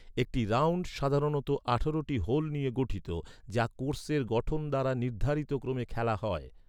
একটি 'রাউন্ড' সাধারণত আঠারোটি হোল নিয়ে গঠিত, যা কোর্সের গঠন দ্বারা নির্ধারিত ক্রমে খেলা হয়।